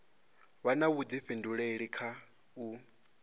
vha na vhuḓifhinduleli kha u